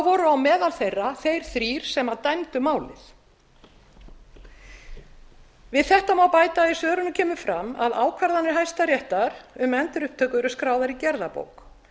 voru á meðal þeirra þeir þrír sem dæmdu málið við þetta má bæta að í svörunum kemur fram að ákvarðanir hæstaréttar um endurupptöku eru skráðar í gerðabók